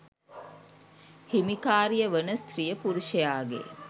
හිමිකාරිය වන ස්ත්‍රිය පුරුෂයාගේ